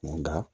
Nka